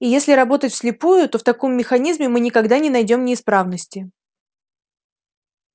и если работать вслепую то в таком механизме мы никогда не найдём неисправности